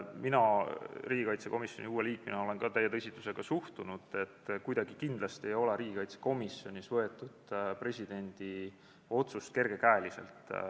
Mina riigikaitsekomisjoni uue liikmena olen ka täie tõsidusega sellesse teemasse suhtunud, kindlasti ei ole riigikaitsekomisjonis võetud presidendi otsust kergekäeliselt.